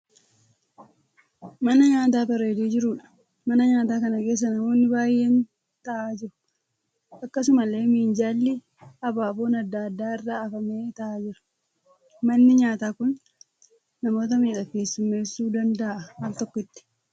Mana nyaataa bareedee jiruudha. Mana nyaataa kana keessa namoonni baay'een ta'aa jiru. Akkasumallee minjaalli abaaboon adda addaa irra hafamee ta'aa jira. Manni nyaataa kun namoota meeqa keessumeessuu danda'aa al tokkotti?